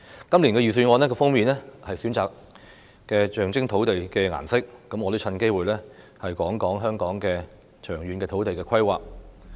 今年預算案的封面選用了象徵土地的顏色，我也藉此機會談論香港的長遠土地規劃。